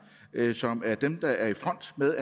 som er dem der er i front med